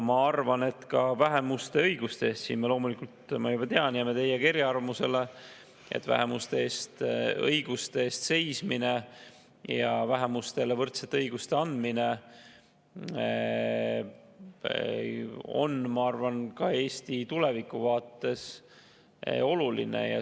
Ma arvan, et ka vähemuste õiguste eest seismine – siin me loomulikult, ma juba tean, jääme teiega eriarvamusele – ja vähemustele võrdsete õiguste andmine on Eesti tuleviku vaates oluline.